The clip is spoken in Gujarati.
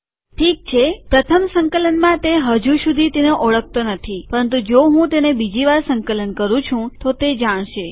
ઠીક છે પ્રથમ સંકલનમાં તે હજુ સુધી તેને ઓળખતો નથી પરંતુ જો હું તેને બીજી વાર સંકલન કરું છું તો તે જાણશે